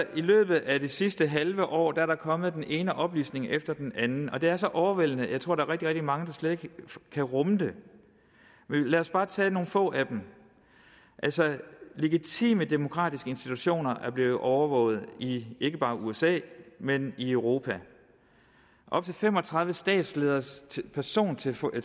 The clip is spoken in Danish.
i løbet af det sidste halve år er der kommet den ene oplysning efter den anden og det er så overvældende at jeg tror der rigtig rigtig mange der slet ikke kan rumme det lad os bare tage nogle få af dem legitime demokratiske institutioner er blevet overvåget i ikke bare usa men i europa op til fem og tredive statslederes persontelefoner